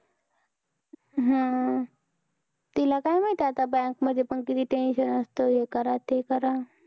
हम्म तिला काय माहित आता bank मध्ये पण किती tension असतं, हे करा ते करा.